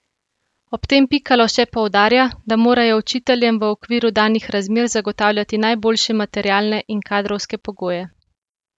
Ob tem Pikalo še poudarja, da morajo učiteljem v okviru danih razmer zagotavljati najboljše materialne in kadrovske pogoje.